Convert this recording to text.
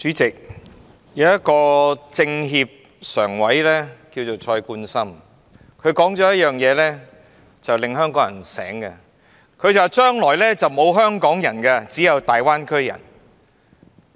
主席，有位政協常委名為蔡冠深，他曾指出一點，令香港人覺醒：將來沒有"香港人"，只有"大灣區人"。